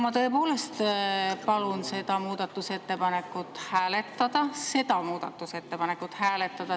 Ma tõepoolest palun seda muudatusettepanekut hääletada – seda muudatusettepanekut hääletada!